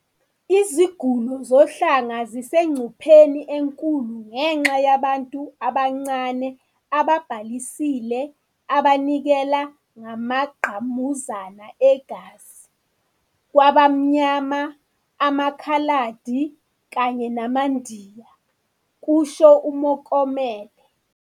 "Iziguli zohlanga zisengcupheni enkulu ngenxa yabantu abancane ababhalisile abanikela ngamangqamuzana egazi kwabamnyama, amakhaladi kanye namaNdiya," kusho uMokomele.